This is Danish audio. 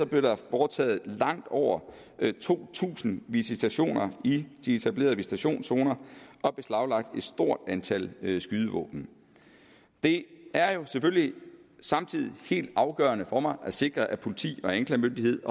blev der foretaget langt over to tusind visitationer i de etablerede visitationszoner og beslaglagt et stort antal skydevåben det er jo selvfølgelig samtidig helt afgørende for mig at sikre at politiet anklagemyndigheden